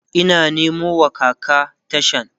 Ina Nemo wa kaka tashan